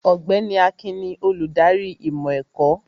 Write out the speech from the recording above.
Ọ̀gbẹ́ni Akin ni olùdarí ìmọ̀ ẹ̀kọ́